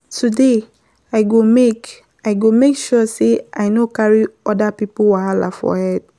Today, I go make sure sey I no carry oda pipo wahala for head.